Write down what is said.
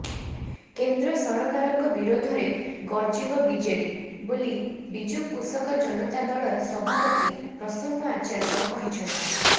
କେନ୍ଦ୍ର ସରକାରଙ୍କ ବିରୋଧରେ ଗର୍ଜିବ ବିଜେଡ଼ି ବୋଲି ବିଜୁ କୃଷକ ଜନତା ଦଳର ସଭାପତି ପ୍ରସନ୍ନ ଆଚାର୍ଯ୍ୟ କହିଛନ୍ତି